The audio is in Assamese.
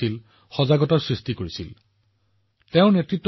তেওঁ সমাজক সামাজিক অশুভ শক্তি নিৰ্মূল কৰিবলৈও সজাগ কৰিছিল